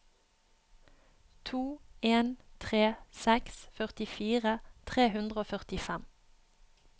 to en tre seks førtifire tre hundre og førtifem